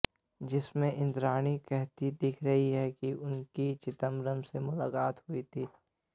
जिसमें इंद्राणी कहती दिख रही हैं कि उनकी चिदंबरम से मुलाकात हुई थी